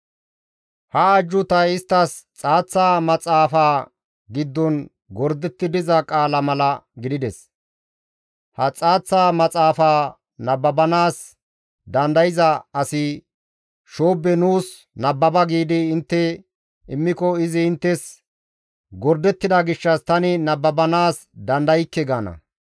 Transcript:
Ha ajjuutay isttas xaaththa maxaafa giddon gordetti diza qaala mala gidides. Ha xaaththa maxaafa nababanaas dandayza asi, «Shoobbe nuus nababa» giidi intte immiko, izi inttes, «Gordettida gishshas tani nababanaas dandaykke» gaana.